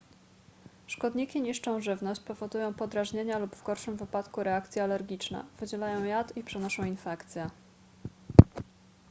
szkodniki niszczą żywność powodują podrażnienia lub w gorszym wypadku reakcje alergiczne wydzielają jad i przenoszą infekcje